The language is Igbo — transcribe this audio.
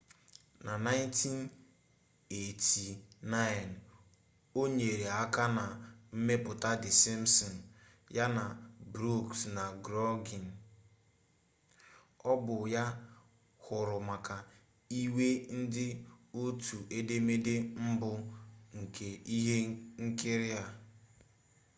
na 1989 ọ nyere aka na mmepụta the simpsons ya na brooks na groening ọ bụ ya hụrụ maka ịwe ndị otu edemede mbụ nke ihe nkiri a